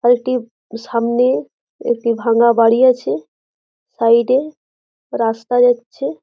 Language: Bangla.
বাড়িটির সামনে একটি ভাঙা বাড়ি আছে সাইড এ রাস্তা যাচ্ছে।